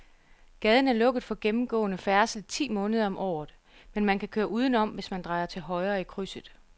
Gaden er lukket for gennemgående færdsel ti måneder om året, men man kan køre udenom, hvis man drejer til højre i krydset.